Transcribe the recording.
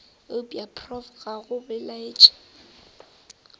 eupša prof ga go belaetše